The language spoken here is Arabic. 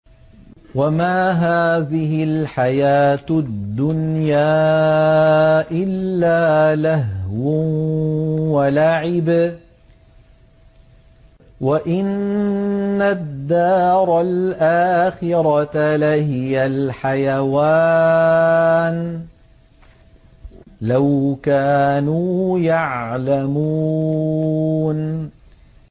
وَمَا هَٰذِهِ الْحَيَاةُ الدُّنْيَا إِلَّا لَهْوٌ وَلَعِبٌ ۚ وَإِنَّ الدَّارَ الْآخِرَةَ لَهِيَ الْحَيَوَانُ ۚ لَوْ كَانُوا يَعْلَمُونَ